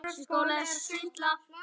Elsku litli, stóri bróðir minn.